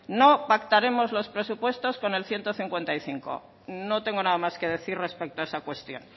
no pactaremos los presupuestos con el ciento cincuenta y cinco no tengo nada más que decir respecto a esa cuestión